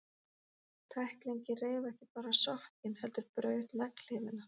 Tæklingin reif ekki bara sokkinn, heldur braut legghlífina.